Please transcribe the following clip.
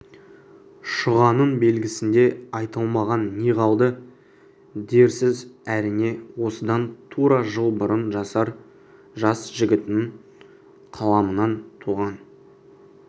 шұғаның белгісінде айтылмаған не қалды дерсіз әрине осыдан тура жыл бұрын жасар жас жігіттің қаламынан туған